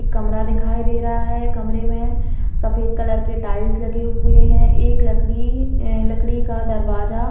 कमरा दिखाई दे रहा है कमरे में सफ़ेद कलर के टाइल्स लगे हुए है एक लकड़ी ए लकड़ी का दरवाजा--